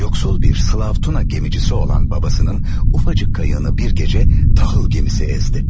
Yoksul bir Slava Tuna gemicisi olan babasının ufacık kayığı bir gece tahıl gemisi ezdi.